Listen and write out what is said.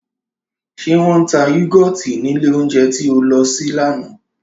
Ṣé wọ́n ń ta yúgọ́tì nílé oúnjẹ tí o lọ sí lánàá